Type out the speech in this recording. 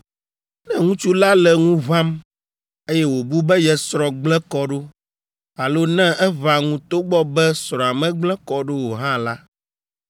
ne ŋutsu la le ŋu ʋãm, eye wòbu be ye srɔ̃ gblẽ kɔ ɖo, alo ne eʋã ŋu togbɔ be srɔ̃a megblẽ kɔ ɖo o hã la,